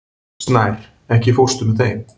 Snær, ekki fórstu með þeim?